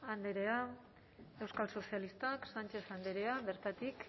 andrea euskal sozialistak sánchez andrea bertatik